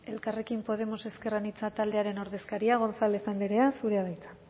elkarrekin podemos ezker anitza taldearen ordezkaria gonzález andrea zurea da hitza